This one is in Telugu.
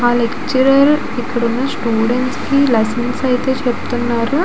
ఆ లెక్చరర్ ఇక్కడ ఉన్న స్టూడెంట్స్ కి లైసెన్స్ అయితే చెబుతున్నారు.